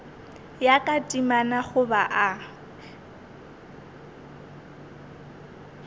ya ka temana goba o